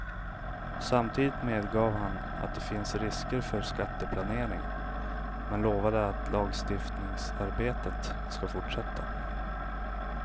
Samtidigt medgav han att det finns risker för skatteplanering, men lovade att lagstiftningsarbetet skall fortsätta.